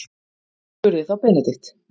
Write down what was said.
spurði þá Benedikt.